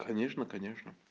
конечно конечно